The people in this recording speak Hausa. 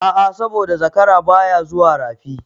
A'a saboda zakara baya zuwa Rafi.